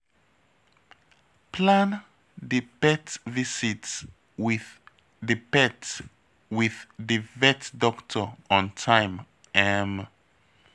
Plan di pet visit with di vet with di vet doctor on time um